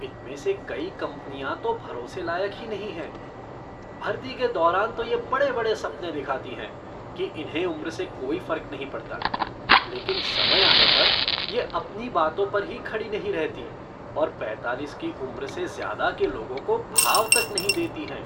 इनमें से कई कंपनियां तो भरोसे लायक ही नहीं हैं, भर्ती के दौरान तो ये बड़े बड़े सपने दिखाती हैं कि इन्हें उम्र से कोई फर्क नहीं पड़ता, लेकिन समय आने पर, ये अपनी बातों पर ही खड़ी नहीं रहती और पैंतालीस की उम्र से ज़्यादा के लोगों को भाव तक नहीं देती हैं।